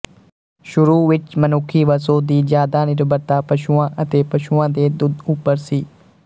ਸ਼ੁਰੂ ਵਿੱਚ ਮਨੁੱਖੀ ਵਸੋਂ ਦੀ ਜਿਆਦਾ ਨਿਰਭਰਤਾ ਪਸ਼ੂਆਂ ਅਤੇ ਪਸ਼ੂਆਂ ਦੇ ਦੁੱਧ ਉੱਪਰ ਸੀ